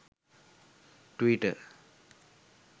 twitter